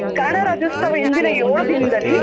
ಕನ್ನಡ ರಾಜ್ಯೋತ್ಸವ ಹಿಂದಿನ ದಿನದಲ್ಲಿ.